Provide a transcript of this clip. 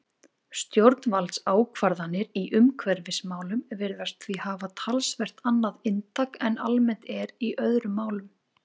Stjórnvaldsákvarðanir í umhverfismálum virðast því hafa talsvert annað inntak en almennt er í öðrum málum.